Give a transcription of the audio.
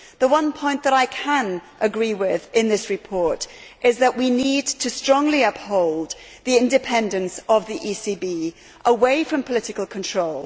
The one point that I can agree with in this report is that we need to strongly protect the independence of the ECB from political control.